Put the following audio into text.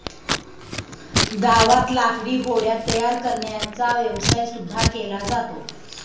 गावात लाकडी होड्या तयार करण्याचा व्यवसाय सुद्धा केला जातो.